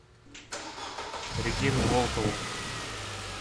регину волкову